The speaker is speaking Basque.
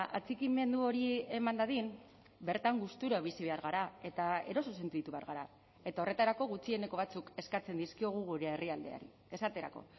atxikimendu hori eman dadin bertan gustura bizi behar gara eta eroso sentitu behar gara eta horretarako gutxieneko batzuk eskatzen dizkiogu gure herrialdeari esaterako